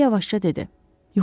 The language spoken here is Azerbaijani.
O yavaşca dedi.